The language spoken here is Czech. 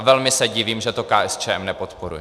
A velmi se divím, že to KSČM nepodporuje.